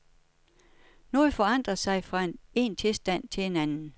Noget forandrer sig fra en tilstand til en anden.